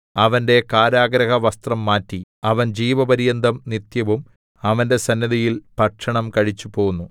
അവന്റെ കാരാഗൃഹവസ്ത്രം മാറ്റി അവൻ ജീവപര്യന്തം നിത്യവും അവന്റെ സന്നിധിയിൽ ഭക്ഷണം കഴിച്ചുപോന്നു